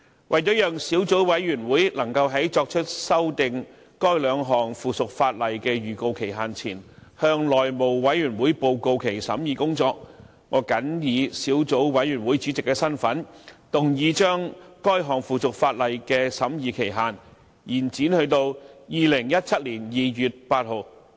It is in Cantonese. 為了讓小組委員會能夠在作出修訂該兩項附屬法例的預告期限前，向內務委員會報告其審議工作，我謹以小組委員會主席的身份，動議將該兩項附屬法例的審議期限，延展至2017年2月8日。